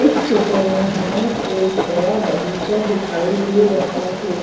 इस चित्र में हमें एक बड़ा बगीचा दिखाई दे रहा है